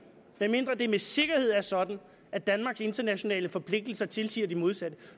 medmindre det med sikkerhed er sådan at danmarks internationale forpligtelser tilsiger det modsatte